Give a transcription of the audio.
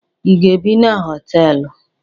Ị ga-ebi na hostelụ?